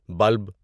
bulb